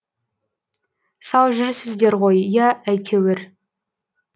сау жүрсіздер ғой иә әйтеуір